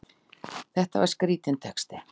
Þetta var skrítinn texti!